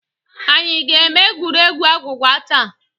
Anyị ga-eme egwuregwu agwụgwa taa.